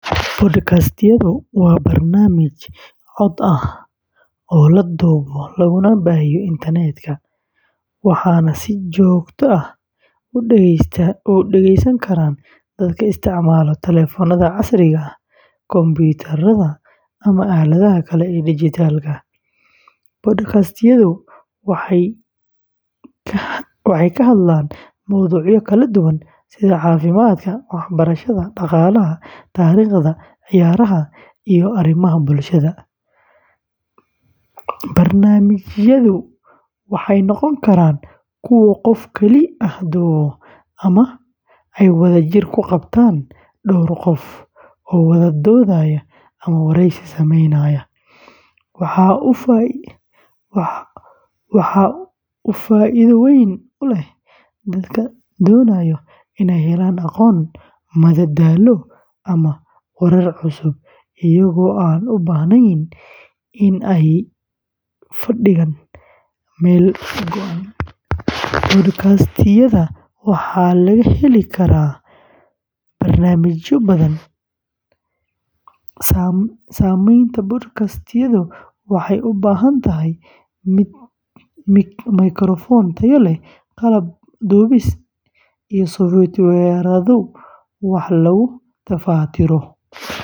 Podcastyadu waa barnaamij cod ah oo la duubo laguna baahiyo internetka, waxaana si joogto ah u dhegeysan kara dadka isticmaala taleefannada casriga ah, kumbuyuutarrada, ama aaladaha kale ee dijitaalka ah. Podcastyadu waxay ka hadlayaan mowduucyo kala duwan sida caafimaadka, waxbarashada, dhaqaalaha, taariikhda, ciyaaraha, iyo arrimaha bulshada. Barnaamijyadu waxay noqon karaan kuwo qof keli ah duubo ama ay wadajir u qabtaan dhowr qof oo wada doodaya ama wareysi sameynaya. Waxa uu faa’iido weyn u leeyahay dadka doonaya inay helaan aqoon, madadaalo, ama warar cusub iyagoo aan u baahnayn in ay fadhigaan meel go’an. Podcastyadu waxaa laga heli karaa barnaamijyo badan. Samaynta podcastyadu waxay u baahan tahay mikrafoon tayo leh, qalab duubis, iyo softwaro wax lagu tafatiro.